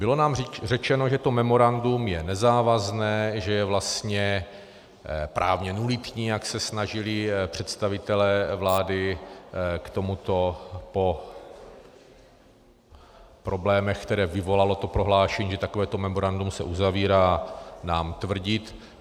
Bylo nám řečeno, že to memorandum je nezávazné, že je vlastně právně nulitní, jak se snažili představitelé vlády k tomuto po problémech, které vyvolalo to prohlášení, že takovéto memorandum se uzavírá, nám tvrdit.